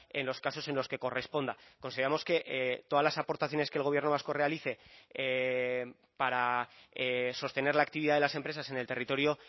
en los casos en los que corresponda consideramos que todas las aportaciones que el gobierno vasco realice para sostener la actividad de las empresas en el territorio